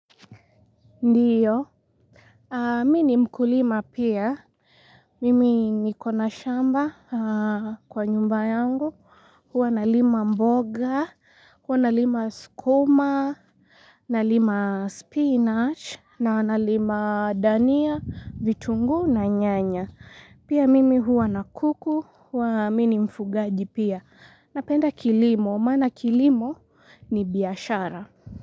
Ndio, mimi ni mkulima pia, mimi niko na shamba kwa nyumba yangu, huwa nalima mboga, huwa nalima sukuma, nalima spinach, na nalima dania, vitunguu na nyanya. Pia mimi huwa na kuku, huwa mimi ni mfugaji pia, napenda kilimo, maana kilimo ni biashara.